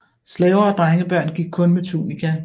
Slaver og drengebørn gik kun med tunika